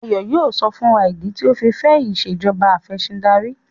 Ayo yíò sọ fún wá ni idi tio ọ fí fè Ìṣèjọba Afẹ̀sìndarí